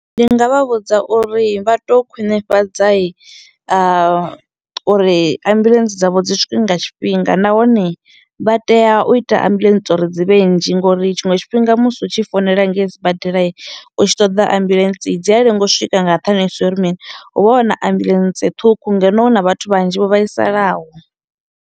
Ndi nga vha vhudza uri vha to khwinifhadza i uri ambuḽentse dzavho dzi swike nga tshifhinga nahone vha tea u ita ambuḽentse uri dzi vhe nnzhi ngo uri tshiṅwe tshifhinga musi u tshi founela ngei sibadelai u tshi ṱoḓa ambuḽentse dzi a lenga u swika nga nṱhani zwo uri mini hu vha huna ambuḽentse ṱhukhu ngeno hu na vhathu vhanzhi vho vhaisalaho.